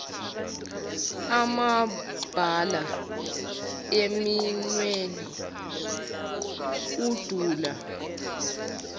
amabala eminweni udala